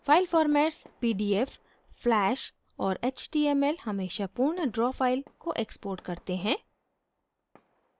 file formats pdf flash और html हमेशा पूर्ण draw file को export करते हैं